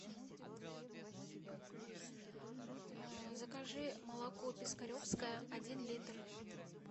закажи молоко пискаревское один литр